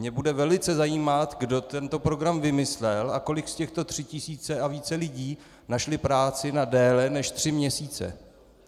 Mě bude velice zajímat, kdo tento program vymyslel a kolik z těch tří tisíc a více lidí našlo práci na déle, než tři měsíce.